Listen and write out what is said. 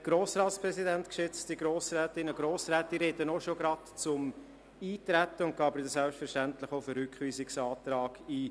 Ich spreche direkt zum Eintreten, gehe dann aber selbstverständlich auch auf den Rückweisungsantrag ein.